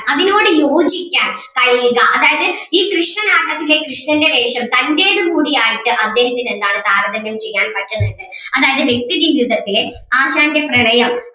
അതിനോട് യോജിക്കാൻ കഴിയുക അതായത് ഈ കൃഷ്ണനാട്ടത്തിലെ കൃഷ്ണന്റെ വേഷം തന്റേതും കൂടു ആയിട്ട് അദ്ദേഹത്തിന് എന്താണ് താരതമ്യം ചെയ്യാൻ പറ്റുന്നുണ്ട് അതായത് വ്യക്തി ജീവിതത്തിലെ ആശാന്റെ പ്രണയം